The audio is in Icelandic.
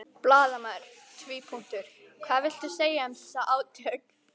Blaðamaður: Hvað viltu segja um þessi átök?